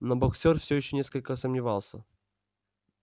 но боксёр всё ещё несколько сомневался